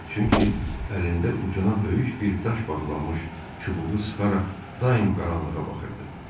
Çünki əlində ucuna böyük bir daş bağlanmış çubuğu sıxaraq daim qaranlığa baxırdı.